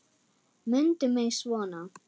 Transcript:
Mundu mig svona.